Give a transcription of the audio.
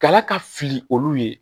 Kala ka fili olu ye